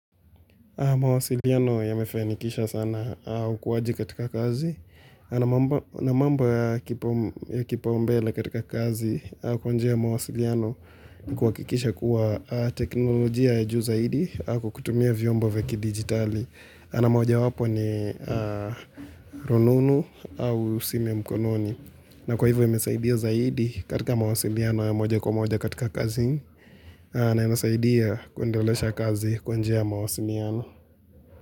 Mawasiliano yamefanikisha sana ukuaji katika kazi na mambo ya kipaumbele katika kazi kwa njia ya mawasiliano kuhakikisha kuwa teknolojia ya juu zaidi au kwa kukutumia vyombo vya kidigitali na moja wapo ni rununu au simu ya mkononi. Na kwa hivyo imesaidia zaidi katika mawasiliano ya moja kwa moja katika kazi na imesaidia kuendelesha kazi kwa njia ya mawasiliano.